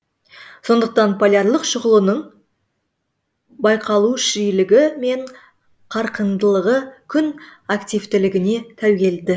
сондықтан полярлық шұғыланың байқалу жиілігі мен қарқындылығы күн активтілігіне тәуелді